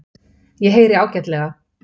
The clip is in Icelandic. Ég heyri ágætlega.